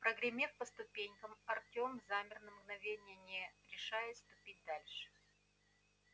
прогремев по ступеням артём замер на мгновение не решая ступить дальше